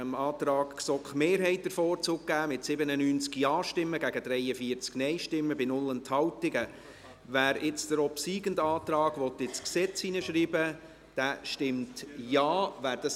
Antrag GSoK-Mehrheit [Kohler, Spiegel b. Bern] / Regierungsrat Antrag GSoK-Minderheit [Gabi Schönenberger, Schwarzenburg])